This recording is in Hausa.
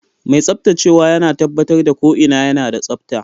Mai tsaftacewa yana tabbatar da ko'ina yana da tsabta.